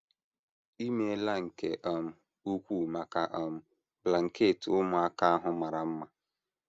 I meela nke um ukwuu maka um blanket ụmụaka ahụ mara mma.